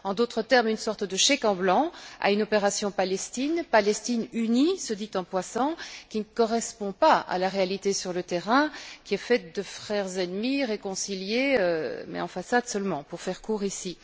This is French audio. En d'autres termes, une sorte de chèque en blanc à une opération Palestine, Palestine unie, soit dit en passant, qui ne correspond pas à la réalité sur le terrain, faite de frères ennemis réconciliés, mais en façade seulement pour faire court ici.